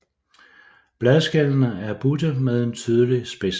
Bladskællene er butte med en tydelig spids